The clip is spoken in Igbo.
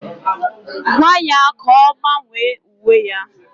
Gwaa ya ka ọ gbanwee uwe ya!